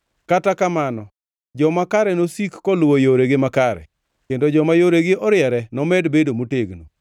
Kata kamano, joma kare nosik koluwo yoregi makare, kendo joma yoregi oriere nomed bedo motegno.